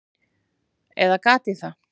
Eða gat ég það?